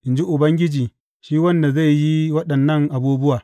in ji Ubangiji shi wanda zai yi waɗannan abubuwa.